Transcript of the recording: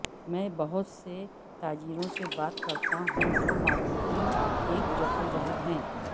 میں بہت سے تاجروں سے بات کرتا ہوں جو مارکیٹنگ ایک جدوجہد ہے